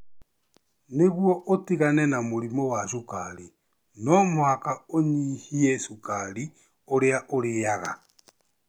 Nĩguo ũtigane na mũrimũ wa cukari no mũhaka ũnyihie cukari ũrĩa ũrĩaga.